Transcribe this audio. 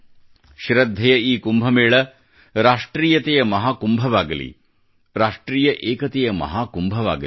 ಶ್ರದ್ದೆಯ ಈ ಕುಂಭಮೇಳ ರಾಷ್ಟ್ರೀಯತೆಯ ಮಹಾ ಕುಂಭವಾಗಲಿ ರಾಷ್ಟ್ರೀಯ ಏಕತೆಯ ಮಹಾಕುಂಭವಾಗಲಿ